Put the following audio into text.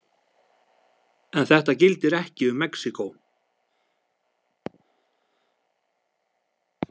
En þetta gildir ekki um Mexíkó.